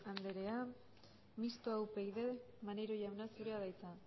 anderea mistoa upyd maneiro jauna zurea da hitza